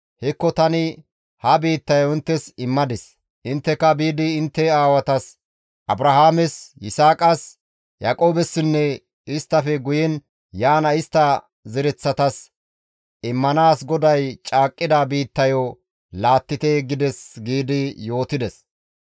Hekko tani ha biittayo inttes immadis; intteka biidi intte aawatas Abrahaames, Yisaaqas, Yaaqoobessinne isttafe guyen yaana istta zereththatas immanaas GODAY caaqqida biittayo laattite› gides» giidi yootides.